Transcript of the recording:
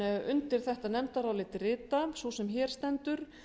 undir þetta nefndarálit rita sú sem hér stendur